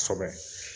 Kosɛbɛ